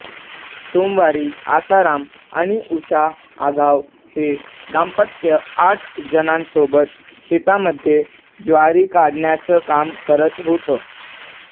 सोमवारी आसाराम आणि उषा आघाव हे दाम्पत्य आठ जणांसोबत शेतामध्ये ज्वारी काढण्याचं काम करत होतं